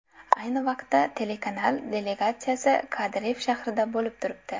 Ayni vaqtda telekanal delegatsiyasi Kardiff shahrida bo‘lib turibdi.